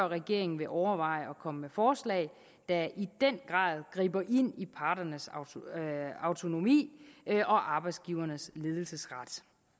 regeringen vil overveje at komme med forslag der i den grad griber ind i parternes autonomi og arbejdsgivernes ledelsesret